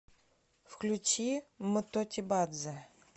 включи м тотибадзе